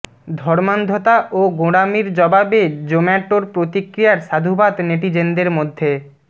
ধর্মান্ধতা ও গোঁড়ামির জবাবে জোম্যাটোর প্রতিক্রিয়ার সাধুবাদ নেটিজেনদের মধ্যে